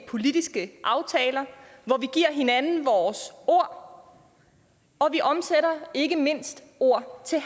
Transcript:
politiske aftaler hvor vi giver hinanden vores ord og vi omsætter ikke mindst ord til